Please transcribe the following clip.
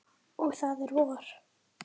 Og það er vor.